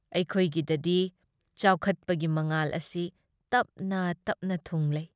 ꯑꯩꯈꯣꯏꯒꯤꯗꯗꯤ ꯆꯥꯎꯆꯠꯄꯒꯤ ꯃꯉꯥꯜ ꯑꯁꯤ ꯇꯞꯅ ꯇꯞꯅ ꯊꯨꯡꯂꯩ ꯫